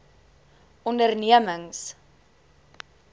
ondernemings